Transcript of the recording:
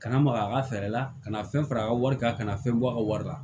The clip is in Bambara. Kana maga a ka fɛɛrɛ la kana fɛn fara a ka wari kan ka na fɛn bɔ a ka wari la